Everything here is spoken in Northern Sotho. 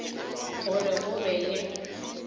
go re go be le